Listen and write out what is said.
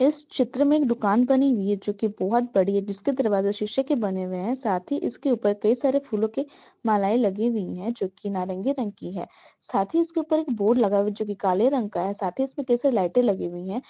इस चित्र में एक दुकान बनी हुई है जो की बहुत बड़ी हैं जिसके दरवाजा शीशे के बने हुए है साथ ही इसके ऊपर कई सारे फूलों के मालाएं लगी हुई है जो की नारंगी रंग की है साथ ही इसके ऊपर एक बोर्ड लगा हुआ है जो की काले रंग का है साथ ही उसमे कई सारी लाइटें लगी हुई हैं।